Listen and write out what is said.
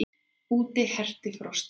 Úti herti frostið.